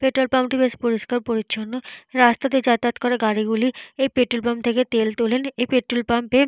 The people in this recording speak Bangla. পেট্রোল পাম্পটি বেশ পরিষ্কার পরিচ্ছন্ন। রাস্তা দিয়ে যাতায়াত করা গাড়িগুলি এই পেট্রোল পাম্প থেকে তেল তোলেন। এই পেট্রোল পাম্পে - এ --